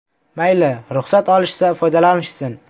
Mayli ruxsat olishsa, foydalanishsin.